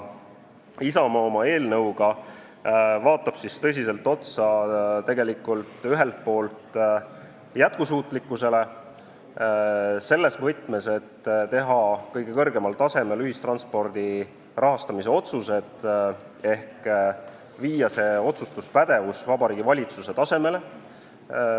Isamaa vaatab oma eelnõuga tõsiselt otsa jätkusuutlikkusele, selles võtmes, et teha ühistranspordi rahastamise otsused kõige kõrgemal tasemel ehk viia see otsustuspädevus Vabariigi Valitsuse tasemele.